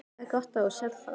Það er gott að þú sérð það.